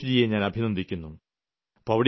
സന്തോഷ്ജിയെ ഞാൻ അഭിനന്ദിക്കുന്നു